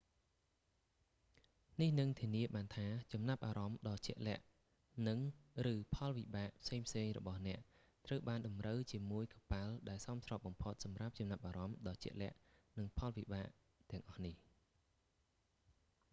នេះនឹងធានាបានថា ចំណាប់អារម្មណ៍ដ៏ជាក់លាក់និង/ឬផលវិបាកផ្សេងៗរបស់អ្នកត្រូវបានតម្រូវជាមួយកប៉ាល់ដែលសមស្របបំផុតសម្រាប់ចំណាប់អារម្មណ៍ដ៏ជាក់លាក់និងផលវិបាកទាំងអស់នេះ។